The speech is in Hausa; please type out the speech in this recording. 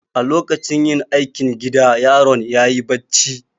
A lokacin yin aikin gida yaron ya yi bacci.